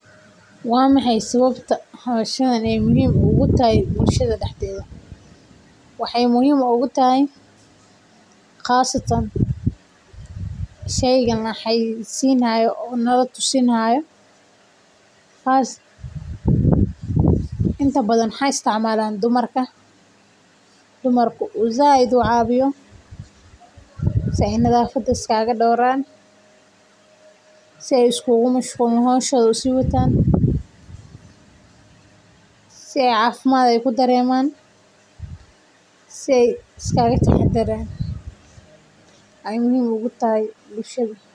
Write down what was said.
Waa maxay sababta howshani muhiim ugu tahay bulshada dexdeeda waxaay muhiim utahay sheygan lasiini haayo inta badan waxaa isticmaalan dumarka si nadafada is kaaga dowraan si cafimaad uqabaan.